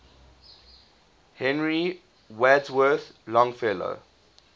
henry wadsworth longfellow